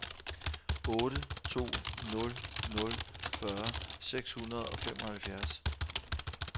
otte to nul nul fyrre seks hundrede og femoghalvfjerds